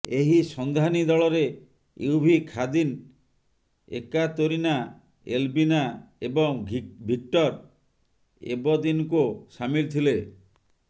ଏହି ସନ୍ଧାନୀ ଦଳରେ ୟୁଭି ଖାଦିନ୍ ଏକାତୋରିନା ଏଲବିନା ଏବଂ ଭିକ୍ଟର ଏବଦିନକୋ ସାମିଲ୍ ଥିଲେ